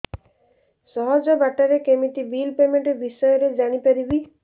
ସହଜ ବାଟ ରେ କେମିତି ବିଲ୍ ପେମେଣ୍ଟ ବିଷୟ ରେ ଜାଣି ପାରିବି